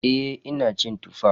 Eh ina cin Tuffa.